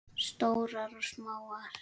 Stórar og smáar.